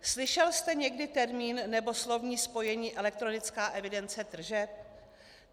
Slyšel jste někdy termín nebo slovní spojení elektronická evidence tržeb?